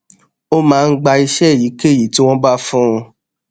ó máa ń gba iṣé èyíkéyìí tí wón bá fún un